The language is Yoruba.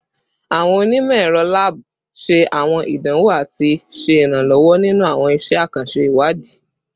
Awọn onimọ-ẹrọ lab ṣe awọn idanwo ati ṣe iranlọwọ ninu awọn iṣẹ akanṣe iwadi